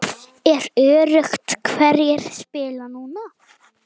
Er öruggt hverjir spila núna?